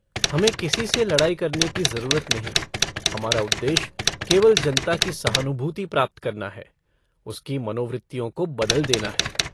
हमें किसी से लड़ाई करने की जरूरत नहीं हमारा उद्देश्य केवल जनता की सहानुभूति प्राप्त करना है उसकी मनोवृत्तियों को बदल देना है।